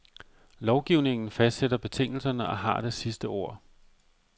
Lovgivningen fastsætter betingelserne og har det sidste ord.